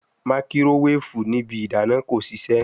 Makirowefu ni ibi idana ko sise